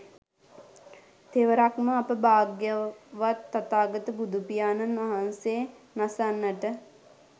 තෙවරක්ම අප භාග්‍යවත් තථාගත බුදුපියාණන් වහන්සේ නසන්නට